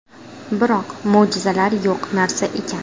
Biroq, mo‘jizalar yo‘q narsa ekan.